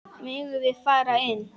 Megum við fara inn?